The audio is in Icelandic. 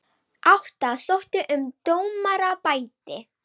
Átta sóttu um dómaraembætti